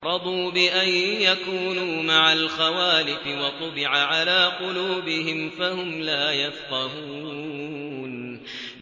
رَضُوا بِأَن يَكُونُوا مَعَ الْخَوَالِفِ وَطُبِعَ عَلَىٰ قُلُوبِهِمْ فَهُمْ لَا يَفْقَهُونَ